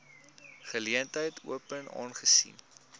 geleentheid open aangesien